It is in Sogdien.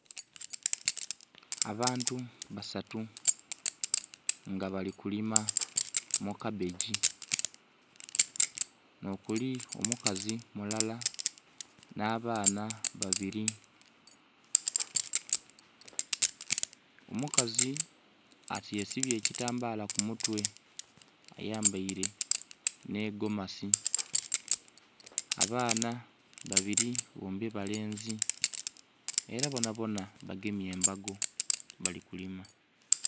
Abantu basatu nga balikulima mukabbegi nokuli omukazi mulala n'abaana babiri. Omukazi ati yesibye ekitambala kumutwe ayambaire n'egomasi, abaana babiri bombi balenzi era bonabona bagemye embago balikulima.